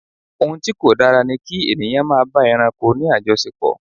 Ohun tí kò dára ni kí ènìyàn máa bá ẹranko ní àjọṣepò.